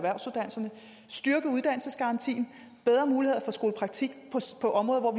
uddannelsesgarantien og bedre muligheder for skolepraktik på områder hvor